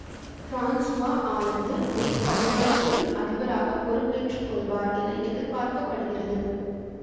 Francois Hollande May பதினாறுக்குள் அதிபராக பொறுப்பேற்றுக்கொள்வார் என எதிர்பார்க்க படுகிறது